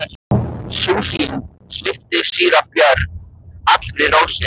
Sú sýn svipti síra Björn allri ró sinni.